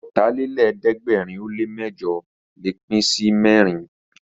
Ọ̀tàlélẹ̀ẹ́dẹ́gbẹ̀rin ó lè mẹ́jọ̀ lè pín sí mẹ́rin